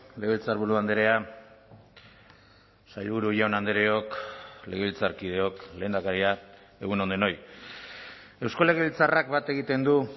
legebiltzarburu andrea sailburu jaun andreok legebiltzarkideok lehendakaria egun on denoi eusko legebiltzarrak bat egiten du